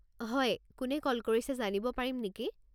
হয়, কোনে কল কৰিছে জানিব পাৰিম নেকি?